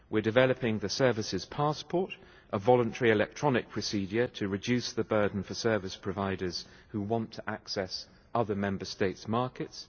We are developing the services passport, which is a voluntary electronic procedure to reduce the burden for service providers who want access other Member States' markets.